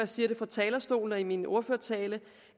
siger det fra talerstolen i min ordførertale